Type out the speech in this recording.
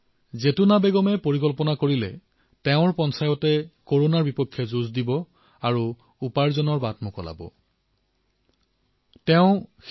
জৈতুনা বেগমজীয়ে তেওঁৰ পঞ্চায়তে কৰোনাৰ বিৰুদ্ধে যুদ্ধ কৰিব আৰু উপাৰ্জনৰ বাবে অৱকাশৰো সৃষ্টি কৰিব বুলি সিদ্ধান্ত গ্ৰহণ কৰিছে